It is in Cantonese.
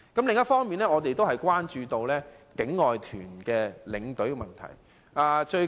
另一方面，我們也關注境外團的領隊問題。